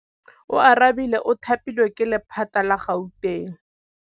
Oarabile o thapilwe ke lephata la Gauteng.